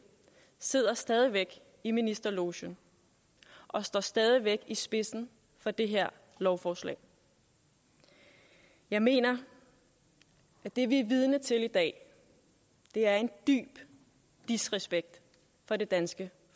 sidder stadig væk i ministerlogen og står stadig væk i spidsen for det her lovforslag jeg mener at det vi er vidne til i dag er en dyb disrespekt for det danske